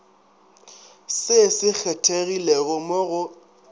se se kgethegilego mo go